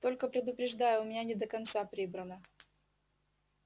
только предупреждаю у меня не до конца прибрано